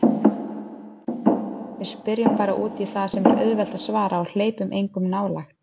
Við spyrjum bara útí það sem er auðvelt að svara og hleypir engum nálægt.